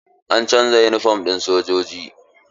An canza yunifom ɗin sojoji.